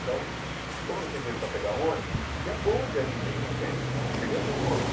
Então, como eu não tinha dinheiro para pegar ônibus, existia bonde ainda aí na Penha, eu cheguei a ver o bonde.